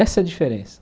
Essa é a diferença.